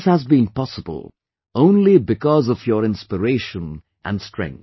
All this has been possible only because of your inspiration and strength